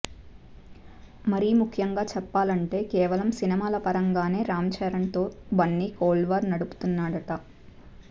మరీ ముఖ్యంగా చెప్పాలంటే కేవలం సినిమాల పరంగానే రామ్ చరణ్ తో బన్నీ కోల్డ్ వార్ నడుపుతున్నాడట